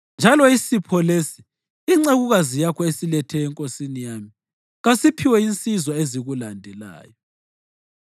Njalo isipho lesi, incekukazi yakho esilethe enkosini yami, kasiphiwe insizwa ezikulandelayo.